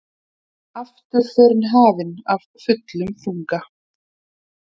Afturförin hafin af fullum þunga.